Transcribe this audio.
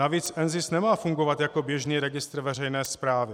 Navíc NZIS nemá fungovat jako běžný registr veřejné správy.